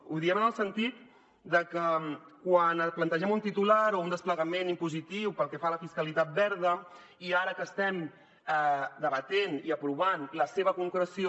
ho diem en el sentit de que quan plantegem un titular o un desplegament impositiu pel que fa a la fiscalitat verda i ara que estem debatent i aprovant la seva concreció